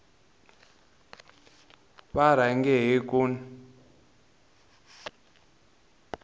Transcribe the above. va rhange hi ku n